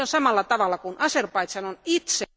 Aivan samalla tavalla kuin Azerbaidžan on itse...